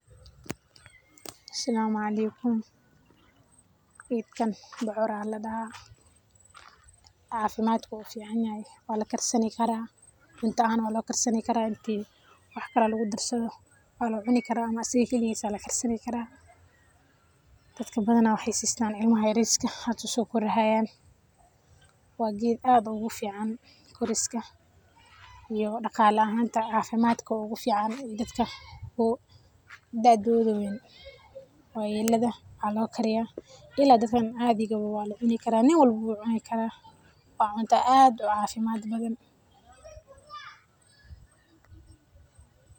Asalama aleykum, geetkana bocoor Aya ladaha cafimad ayu u ficanyahay, Wala karsani karah cunta walo karsani karah waxkali lagu darsadoh walacini karah amah asaga kaliges Aya lakarsani karah, dadka bathana waxaysistan ilmahaa yaryar, yariska hada sokorahayan wa geet aad ugufican koriska iyo daqala ahanta cafimad ugu fican dadka, oo doodotha weyn wayelada walaokarinah, ila dadka cathika wa cuni karah nin walabo wu cuni karah wa cunata aad cafimad bathan.